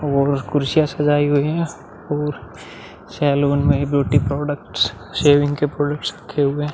और कुर्सियां सजाई हुई है और सलून में ब्यूटी प्रोडक्ट्स सेविंग के प्रोडट्स रखे हुए हैं।